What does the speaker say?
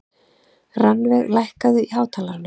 Rannveig, lækkaðu í hátalaranum.